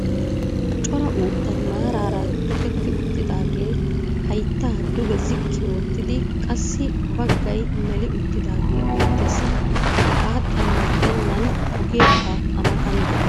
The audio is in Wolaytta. cora uuttay maaraara tokketti uttidaagee hayttaa duge ziqqi oottidi qassi bagay meli uttidaagee beetees. hegaa xalla gidennan ogeekka a matan de'ees.